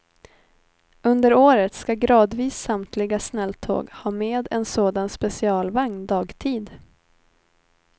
Under året ska gradvis samtliga snälltåg ha med en sådan specialvagn dagtid.